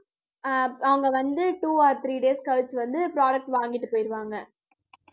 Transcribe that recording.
ஆஹ் அவங்க வந்து two or three days கழிச்சு வந்து product வாங்கிட்டு போயிருவாங்க